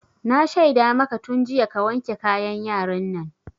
Na shaida maka tun jiya ka wanke kayan yaran nan!